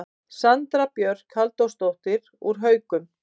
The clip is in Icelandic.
Sandra Björk Halldórsdóttir úr Haukum